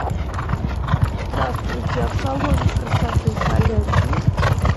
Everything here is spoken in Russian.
здравствуйте а в салоне красоты солярий есть